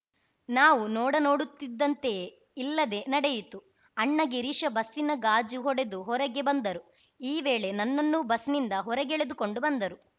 ನಾವು ನೋಡ ನೋಡುತ್ತಿದ್ದಂತೆಯೇ ಇಲ್ಲದೆ ನಡೆಯಿತು ಅಣ್ಣ ಗಿರೀಶ ಬಸ್ಸಿನ ಗಾಜು ಹೊಡೆದು ಹೊರಗೆ ಬಂದರು ಈ ವೇಳೆ ನನ್ನನ್ನೂ ಬಸ್‌ನಿಂದ ಹೊರಗೆಳೆದುಕೊಂಡು ಬಂದರು